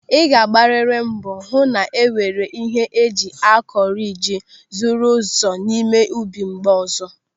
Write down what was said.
Ị ga-agbariri mbọ hụ na-enwere ihe eji akọ riji zuru ezu n'ime ubi mgbe ọzọ.